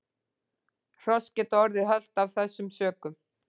Hross geta orðið hölt af þessum sökum.